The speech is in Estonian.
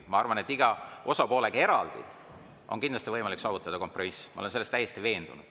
Ma arvan, et iga osapoolega eraldi on kindlasti võimalik saavutada kompromiss, ma olen selles täiesti veendunud.